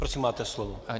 Prosím máte slovo.